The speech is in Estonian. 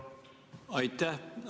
Aitäh!